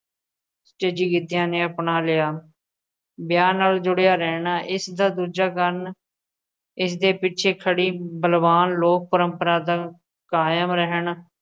'ਚ ਗਿੱਧਿਆਂ ਨੇ ਅਪਣਾ ਲਿਆ, ਵਿਆਹ ਨਾਲ ਜੁੜਿਆ ਰਹਿਣਾ ਇਸ ਦਾ ਦੂਜਾ ਕਾਰਨ ਇਸਦੇ ਪਿੱਛੇ ਖੜ੍ਹੀ ਬਲਵਾਨ ਲੋਕ ਪਰੰਪਰਾ ਦਾ ਕਾਇਮ ਰਹਿਣ